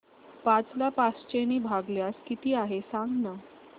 पाच ला पाचशे ने भागल्यास किती आहे सांगना